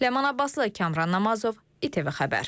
Ləman Abbaslı, Kamran Namazov, ITV Xəbər.